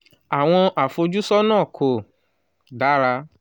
awọn afojusun ko dara